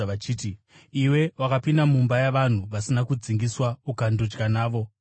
vachiti, “Iwe wakapinda mumba yavanhu vasina kudzingiswa ukandodya navo.”